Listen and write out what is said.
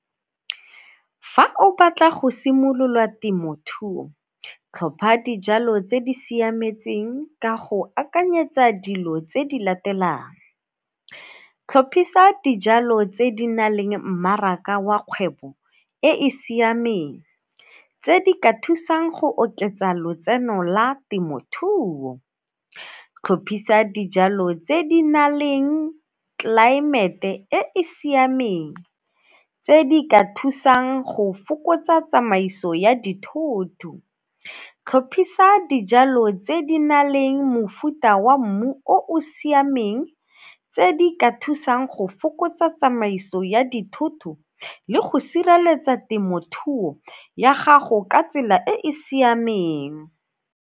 Fa o batla go simolola temothuo, tlhopha dijalo tse di siametseng ka go akanyetsa dilo tse di latelang, tlhophisa dijalo tse di na leng mmaraka wa kgwebo e e siameng, tse di ka thusang go oketsa lotseno la temothuo. Tlhophisa dijalo tse di na leng tlelaemete e e siameng tse di ka thusang go fokotsa tsamaiso ya dithoto. Tlhophisa dijalo tse di na leng mofuta wa mmu o o siameng tse di ka thusang go fokotsa tsamaiso ya dithoto le go sireletsa temothuo ya gago ka tsela e e siameng.